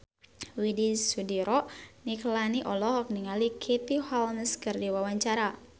Widy Soediro Nichlany olohok ningali Katie Holmes keur diwawancara